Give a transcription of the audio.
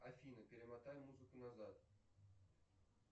афина перемотай музыку назад